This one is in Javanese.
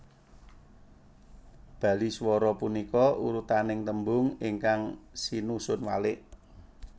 Baliswara punika urutaning tembung ingkang sinusun walik